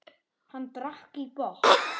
Hann drakk í botn.